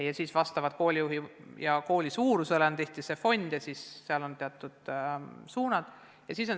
Ja siis oleneb kooli suurusest, aga tihtipeale on teatud fondid ja suunad.